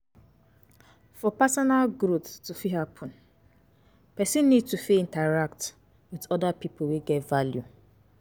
For personal growth to fit happen person need to fit interact with oda pipo wey get value